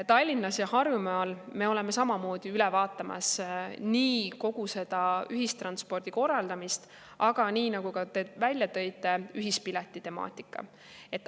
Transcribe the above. Tallinnas ja Harjumaal me oleme samamoodi üle vaatamas kogu ühistranspordi korraldamist, aga ka ühispileti temaatikat, mida te välja tõite.